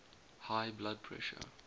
high blood pressure